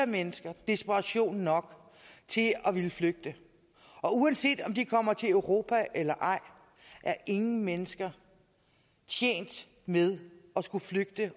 mennesker desperation nok til at ville flygte og uanset om de kommer til europa eller ej er ingen mennesker tjent med at skulle flygte